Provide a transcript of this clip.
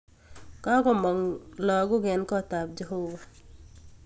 Kakomog lakok en kotab jeobo